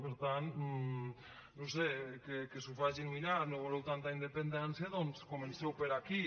per tant no ho sé que s’ho facin mirar no voleu tanta independència doncs comenceu per aquí